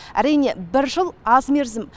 әрине бір жыл аз мерзім